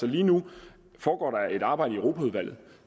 lige nu foregår der et arbejde i europaudvalget